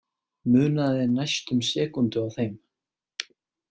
Munaði næstum sekúndu á þeim